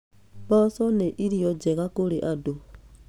Mboco nĩ irio njega kũrĩ andũ.